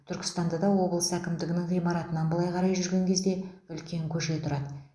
түркістанда да облыс әкімдігінің ғимаратынан былай қарай жүрген кезде үлкен көше тұрады